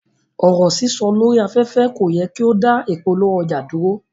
Ọ̀rọ̀ sísọ lórí aféfé ko yẹ ki o da ìpolówó ọjà duro.